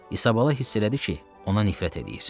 İsabala hiss elədi ki, ona nifrət eləyir.